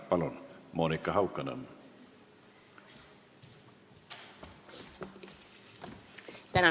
Palun, Monika Haukanõmm!